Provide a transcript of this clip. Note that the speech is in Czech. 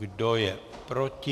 Kdo je proti?